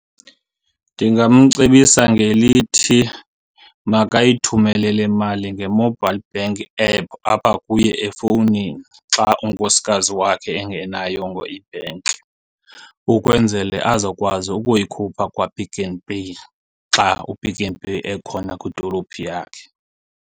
Ndingamcebisa ngelithi makayithumele le mali nge-mobile bank app apha kuye efowunini xa unkosikazi wakhe engenayongo ibhenki, ukwenzele azokwazi ukuyikhupha kwaPick n Pay xa uPick n Pay ekhona kwidolophu yakhe.